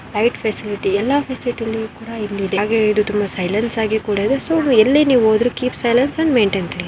Height facility ಎಲ್ಲ facility ಇಲ್ಲಿ ಕೂಡ ಇದೆ ಹಾಗೆ ತುಂಬಾ ಸಲೈನ್ಸ ಕೂಡ ಇದೆ-- ಸೊ ಎಲ್ಲಿ ನೀವು ಹೂದರು ಕೀಪ್ ಸೈಲ್ಲೆನ್ಸ್ ಮೆಟೈನ್ ಕ್ಲಿನ್.